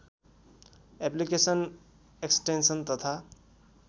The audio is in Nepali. अप्लिकेसन एक्सटेन्सन तथा